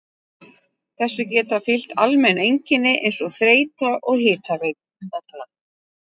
Þessu geta fylgt almenn einkenni eins og þreyta og hitavella.